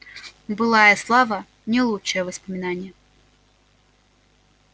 былая слава не лучшее воспоминание